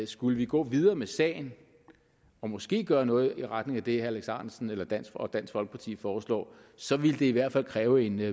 skulle vi gå videre med sagen og måske gøre noget i retning af det herre alex ahrendtsen og dansk og dansk folkeparti foreslår så ville det i hvert fald kræve en